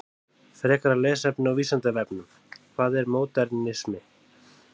Frekara lesefni á Vísindavefnum: Hvað er módernismi?